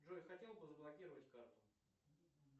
джой хотел бы заблокировать карту